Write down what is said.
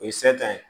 O ye ye